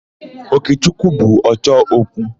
Okechukwu bụ ọchọ okwu.